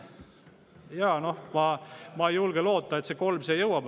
Jaa, noh, ma ei julge loota, et kolm siia jõuab.